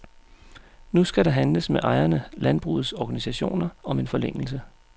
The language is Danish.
Nu skal der forhandles med ejerne, landbrugets organisationer, om en forlængelse.